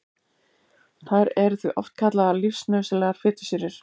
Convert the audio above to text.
Þær eru því oft kallaðar lífsnauðsynlegar fitusýrur.